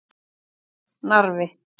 Narfi